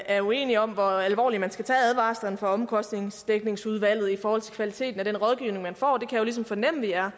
er uenige om hvor alvorligt man skal tage advarslerne fra omkostningsdækningsudvalget i forhold til kvaliteten af den rådgivning man får det kan jeg jo ligesom fornemme at vi er